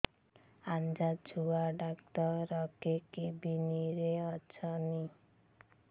ଆଜ୍ଞା ଛୁଆ ଡାକ୍ତର କେ କେବିନ୍ ରେ ଅଛନ୍